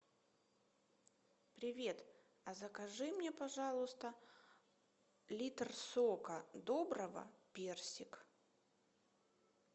привет а закажи мне пожалуйста литр сока доброго персик